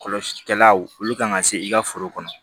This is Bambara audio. Kɔlɔsilikɛlaw olu kan ka se i ka foro kɔnɔ